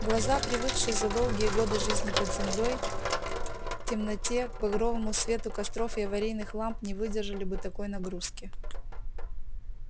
глаза привыкшие за долгие годы жизни под землёй в темноте к багровому свету костров и аварийных ламп не выдержали бы такой нагрузки